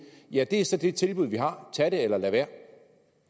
ja det er så det tilbud vi har tag det eller lad være